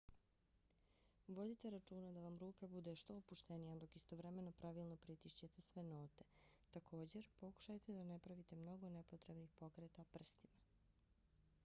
vodite računa da vam ruka bude što opuštenija dok istovremeno pravilno pritišćete sve note. također pokušajte da ne pravite mnogo nepotrebnih pokreta prstima